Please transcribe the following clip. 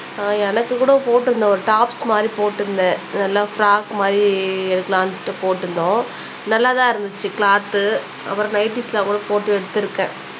ஆஹ் எனக்கு கூட போட்டுருந்தோம் ஒரு டாப்ஸ் மாதிரி போட்டுருந்தேன் நல்லா ஃப்ராக் மாதிரி எடுக்கலாம்னு போட்டுருந்தோம் நல்லா தான் இருந்துச்சு க்லாத்து அப்புறம் நைட்டீஸ்லாம் கூட போட்டு எடுத்துருக்கேன்